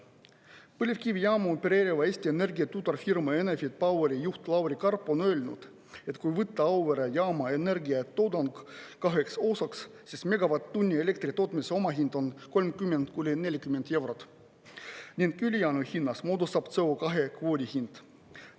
Põlevkivijaamu opereeriva Eesti Energia tütarfirma Enefit Poweri juht Lauri Karp on öelnud, et kui võtta Auvere jaama energiatoodang kaheks osaks, siis megavatt-tunni elektri tootmise omahind on 30–40 eurot ning ülejäänu hinnast moodustab CO2 kvoodi hind.